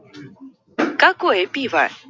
какое пиво